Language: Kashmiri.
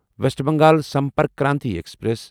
waste Bengal Sampark Kranti express